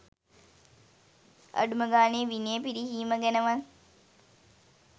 අඩුම ගානේ විනය පිරිහීම ගැනවත්